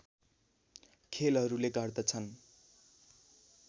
खेलहरूले गर्दछन्